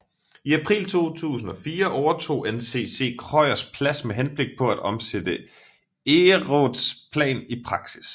I april 2004 overtog NCC Krøyers Plads med henblik på at omsætte Egeraats plan i praksis